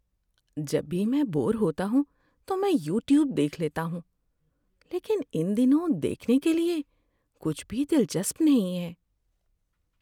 جب بھی میں بور ہوتا ہوں تو میں یوٹیوب دیکھ لیتا ہوں۔ لیکن ان دنوں دیکھنے کے لیے کچھ بھی دلچسپ نہیں ہے۔